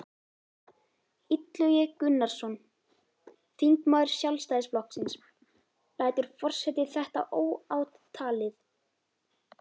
Illugi Gunnarsson, þingmaður Sjálfstæðisflokksins: Lætur forseti þetta óátalið?